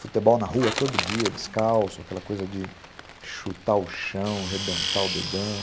Futebol na rua todo dia, descalço, aquela coisa de chutar o chão, rebentar o dedão.